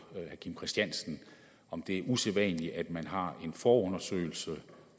herre kim christiansen om det er usædvanligt at man har en forundersøgelse